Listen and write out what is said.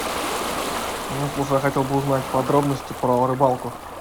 я хотел бы узнать подробности про рыбалку